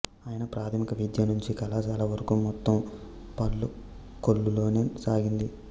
ఆయన ప్రాథమిక విద్య నుంచి కళాశాల వరకూ మొత్తం పాలకొల్లులోనే సాగింది